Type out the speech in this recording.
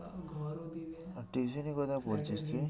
ঘর ও দেবে। আর tuition কোথায় পড়ছিস তুই?